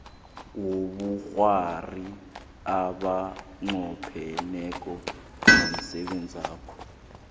wobukghwari abanqopheneko nomsebenzakho